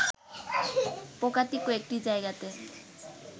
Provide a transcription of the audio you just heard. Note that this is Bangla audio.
পোকাটি কয়েকটি জায়গাতে